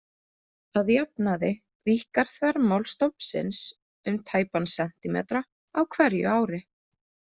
Að jafnaði víkkar þvermál stofnsins um tæpan sentímetra á hverju ári.